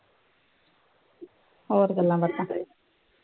ਹੋਰ ਗੱਲਾ ਬਾਤਾ